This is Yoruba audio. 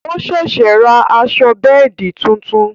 O ṣẹ̀ṣẹ̀ rà aṣọ bẹ́ẹ̀di tuntun